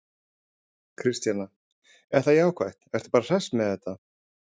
Kristjana: Er það jákvætt, ertu bara hress með þetta?